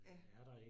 Ja